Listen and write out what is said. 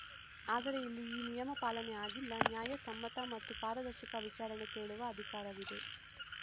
ಆದರೆ ಇಲ್ಲಿ ಈ ನಿಯಮ ಪಾಲನೆ ಆಗಿಲ್ಲ ನ್ಯಾಯ ಸಮ್ಮತ ಮತ್ತು ಪಾರದರ್ಶಕ ವಿಚಾರಣೆ ಕೇಳುವ ಅಧಿಕಾರವಿದೆ